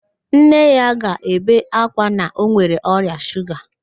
Nne ya ga-ebe ákwá na ọ nwere ọrịa shuga